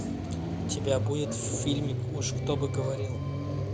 у тебя будет фильмик уж кто бы говорил